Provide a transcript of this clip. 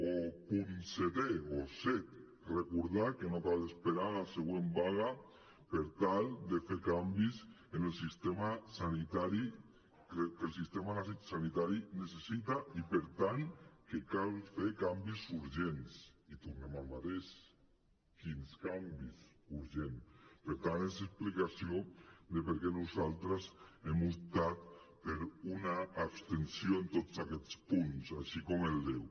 o punt setè o set recordar que no cal esperar a la següent vaga per tal de fer canvis que el sistema sanitari necessita i per tant que cal fer canvis urgents i tornem al mateix quins canvis urgents per tant és l’explicació de per què nosaltres hem optat per una abstenció en tots aquests punts així com el deu